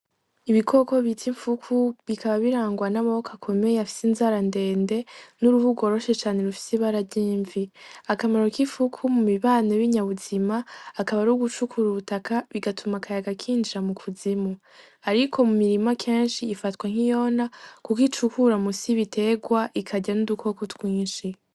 Ibikoko biza imfuku bikaba birangwa n'amaboko akomeye afise inzara ndende n'uruhug roshe cane rufsi barajyimvi akamaro k'ifuku mu mibano b'inyabuzima akaba ari ugucukura ubutaka bigatuma akaya gakinjira mu kuzimu, ariko mu mirima kanshi ifatwa nk'iyona, kuko icukura mu sibiterwa ika arya n'udukoko twinshi.